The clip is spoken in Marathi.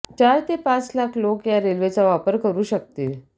चार ते पाच लाख लोक या रेल्वेचा वापर करू शकतील